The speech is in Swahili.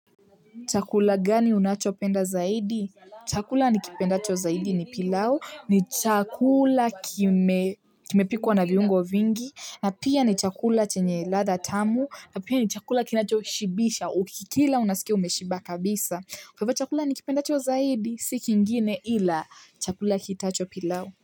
Chakula gani unacho penda zaidi? Chakula nikipendacho zaidi ni pilau. Ni chakula kimepikwa na viungo vingi. Na pia ni chakula chenye ladha tamu. Na pia ni chakula kinacho shibisha. Ukikila unasikia umeshiba kabisa. Kwa hivyo chakula nikipendacho zaidi, si kingine ila chakula kiitwacho pilau.